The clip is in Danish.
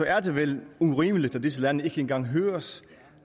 er det vel urimeligt at disse lande ikke engang høres